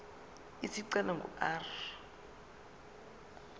isicelo ingu r